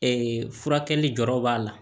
furakɛli dɔrɔn b'a la